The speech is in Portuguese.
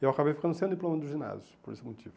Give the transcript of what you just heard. Eu acabei ficando sem o diploma do ginásio, por esse motivo.